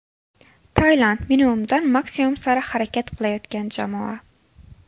Tailand: minimumdan maksimum sari harakat qilayotgan jamoa.